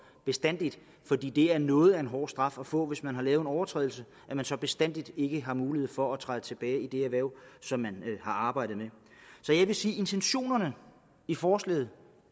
bestandig fordi det er noget af en hård straf at få hvis man har lavet en overtrædelse at man så bestandig ikke har mulighed for at træde tilbage i det erhverv som man har arbejdet med så jeg vil sige at intentionerne i forslaget